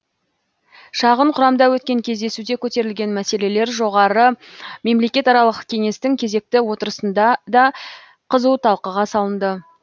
шағын құрамда өткен кездесуде көтерілген мәселелер жоғары мемлекетаралық кеңестің кезекті отырысында да қызу талқыға салынды